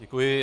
Děkuji.